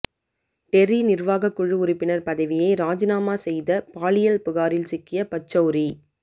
Terry நிர்வாக குழு உறுப்பினர் பதவியை ராஜினாமா செய்த பாலியல் புகாரில் சிக்கிய பச்சௌரி